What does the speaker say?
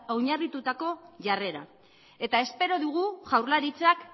oinarritutako jarrera eta espero dugu jaurlaritzak